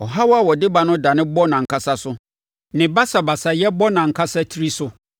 Ɔhaw a ɔde ba no dane bɔ nʼankasa so; ne basabasayɛ bɔ nʼankasa tiri so.